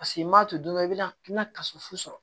Paseke n m'a to don dɔ i bɛ na i bɛna kaso fo sɔrɔ